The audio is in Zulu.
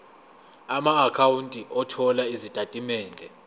amaakhawunti othola izitatimende